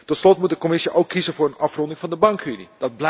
Tot slot moet de Commissie ook kiezen voor de afronding van de bankenunie.